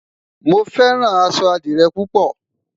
mo fẹràn aṣọ adire pupo